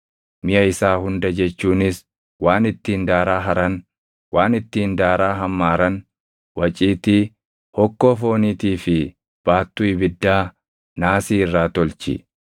Miʼa isaa hunda jechuunis waan ittiin daaraa haran, waan ittiin daaraa hammaaran, waciitii, hokkoo fooniitii fi baattuu ibiddaa naasii irraa tolchi.